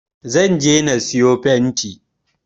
Zan je na sayo fenti